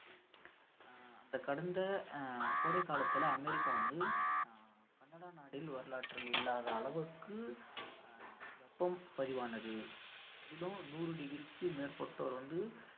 அந்த கடந்த கோடை காலத்துல அமெரிக்கா வந்து ஆஹ் கனடா நாட்டில் வரலாற்றில் இல்லாத அளவிற்கு அஹ் வெப்பம் பதிவானது அதிலும் நூறு degree க்கு மேற்பட்டோர் வந்து